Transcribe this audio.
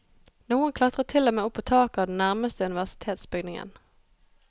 Noen klatret til og med opp på taket av den nærmeste universitetsbygningen.